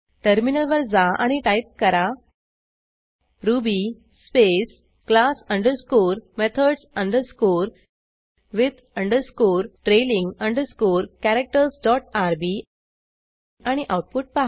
टर्मिनलवर जा आणि टाईप करा Ruby space class underscore methods underscore with underscore trailing underscore characters dot R B आणि आऊटपुट पहा